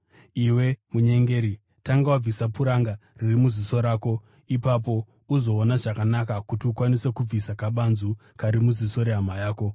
Iwe munyengeri, tanga wabvisa puranga riri muziso rako, ipapo unozoona zvakanaka kuti ukwanise kubvisa kabanzu kari muziso rehama yako.